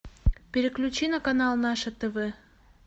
переключи на канал наше тв